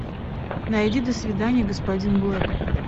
найди до свидания господин блэк